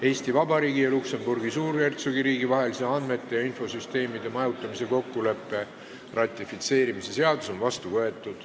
Eesti Vabariigi ja Luksemburgi Suurhertsogiriigi vahelise andmete ja infosüsteemide majutamise kokkuleppe ratifitseerimise seadus on vastu võetud.